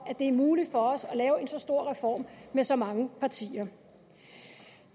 at det er muligt for os at lave en så stor reform med så mange partier